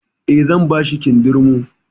Eh, zan bashi kindirmo